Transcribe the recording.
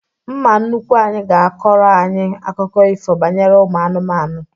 Mma nnukwu anyị ga-akọrọ anyị akụkọ ifo banyere ụmụ anụmanụ